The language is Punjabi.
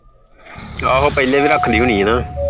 ਆਹੋ ਪਹਿਲੇ ਵੀ ਰੱਖਦੀ ਹੋਣੀ ਆਂ ਨਾ